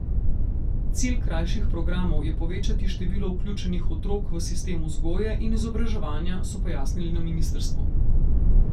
Cilj krajših programov je povečati število vključenih otrok v sistem vzgoje in izobraževanja, so pojasnili na ministrstvu.